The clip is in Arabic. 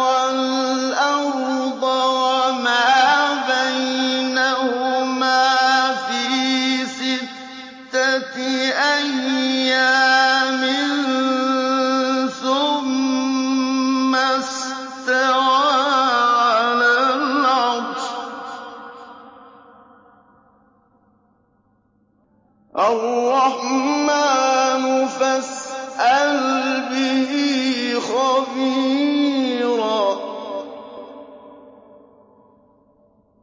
وَالْأَرْضَ وَمَا بَيْنَهُمَا فِي سِتَّةِ أَيَّامٍ ثُمَّ اسْتَوَىٰ عَلَى الْعَرْشِ ۚ الرَّحْمَٰنُ فَاسْأَلْ بِهِ خَبِيرًا